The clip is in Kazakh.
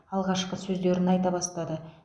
алғашқы сөздерін айта бастады